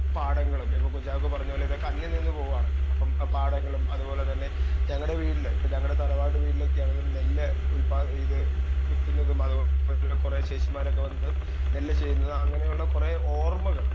speaker 2 പാടങ്ങളും ഇപ്പൊ കുഞ്ചാക്കോ പറഞ്ഞ പോലെ ഇതൊക്കെ അന്ന്യം നിന്ന് പോവാണ് അപ്പൊ ആ പാടങ്ങളും അത് പോലെ തന്നെ ഞങ്ങടെ വീട്ടില് ഇപ്പൊ ഞങ്ങടെ തറവാട് വീട്ടിലൊക്കെയാണെ നെല്ല് ഉൽപ്പാ ഇത് കുത്തുന്നതും അത്പോലെ കൊറേ ചേച്ചിമാരൊക്കെ വന്ന് നെല്ല് ചെയ്യുന്നത് അങ്ങനെയുള്ള കൊറേ ഓർമകള്